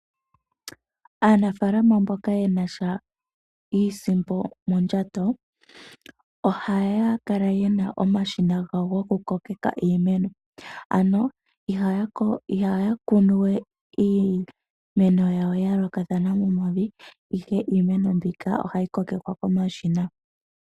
Aanafaalama mboka ye na sha iisimpo mondjato ohaya kala ye na omashina gawo gokukokeka iimeno, ano ihaya kunu we iimeno yawo ya yoolokathana momavi, ihe iimeno mbika ohayi kokekwa komashina.